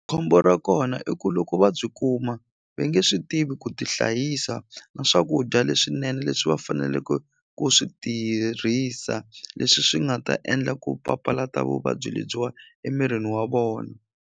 Khombo ra kona i ku loko va byi kuma ve nge swi tivi ku ti hlayisa na swakudya leswinene leswi va faneleke ku swi tirhisa leswi swi nga ta endla ku papalata vuvabyi lebyiwa emirini wa vona.